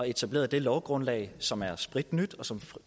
etablerede det lovgrundlag som er spritnyt og som